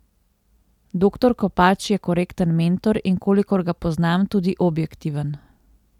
Doktor Kopač je korekten mentor, in kolikor ga poznam, tudi objektiven.